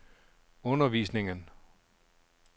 undervisningen